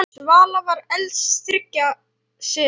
Svala var elst þriggja systra.